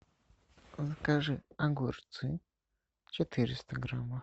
закажи огурцы четыреста граммов